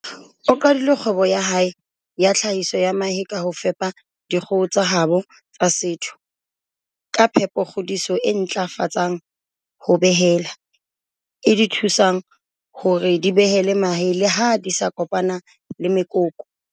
O qadile kgwebo ya hae ya tlhahiso ya mahe ka ho fepa dikgoho tsa habo tsa setho ka phepokgodiso e ntlafatsang ho behela, e di thusang hore di behele mahe le ha di sa kopana le mekoko.